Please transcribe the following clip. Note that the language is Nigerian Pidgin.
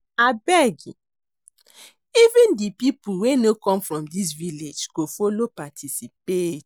Abeg even the people wey no come from dis village go follow participate